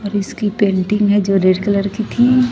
Race की painting है जो रेड कलर की थी।